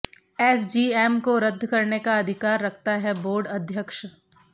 SGM को रद्द करने का अधिकार रखता है बोर्ड अध्यक्ष